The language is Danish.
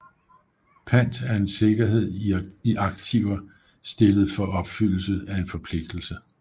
Pant er en sikkerhed i aktiver stillet for opfyldelse af en forpligtelse